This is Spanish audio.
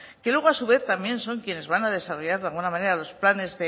que luego a su vez también son quienes van a desarrollar de alguna manera los planes